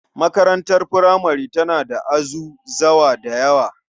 Makarantar furamare tana da azuzawa da yawa.